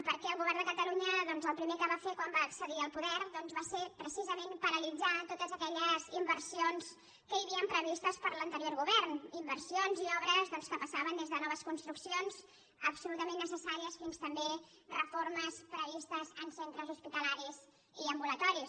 perquè el govern de catalunya doncs el primer que va fer quan va accedir al poder doncs va ser precisament paralitzar totes aquelles inversions que hi havien previstes per l’anterior govern inversions i obres que passaven des de noves construccions absolutament necessàries fins també a reformes previstes en centres hospitalaris i ambulatoris